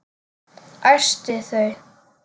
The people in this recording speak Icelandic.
Æsti þau.